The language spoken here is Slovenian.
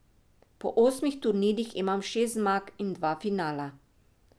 Po osmih turnirjih imam šest zmag in dva finala.